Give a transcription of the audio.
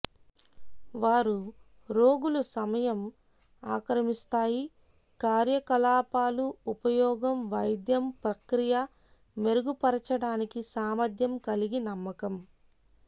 వారు రోగులు సమయం ఆక్రమిస్తాయి కార్యకలాపాలు ఉపయోగం వైద్యం ప్రక్రియ మెరుగుపరచడానికి సామర్ధ్యం కలిగి నమ్మకం